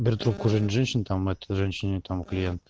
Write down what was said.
беру трубку женщин там этой женщине клиент